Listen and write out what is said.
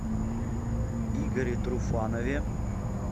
игоре труфанове